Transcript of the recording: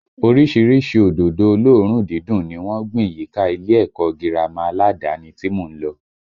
Orísìírísìí òdòdó olóòórùn dídùn ni wọ́n gbìn yíká ilé ẹ̀kọ́ gírámà aládàáni tí mò ń lọ